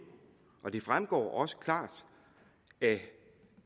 og det fremgår også klart af